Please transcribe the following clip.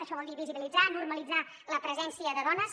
això vol dir visibilitzar normalitzar la presència de dones